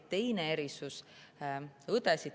Teine erisus.